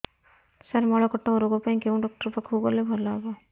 ସାର ମଳକଣ୍ଟକ ରୋଗ ପାଇଁ କେଉଁ ଡକ୍ଟର ପାଖକୁ ଗଲେ ଭଲ ହେବ